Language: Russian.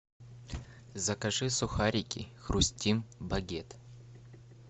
закажи сухарики хрустим багет